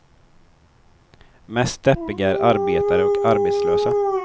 Mest deppiga är arbetare och arbetslösa.